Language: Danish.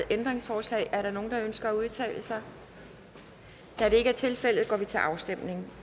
ændringsforslag er der nogen der ønsker at udtale sig da det ikke er tilfældet går vi til afstemning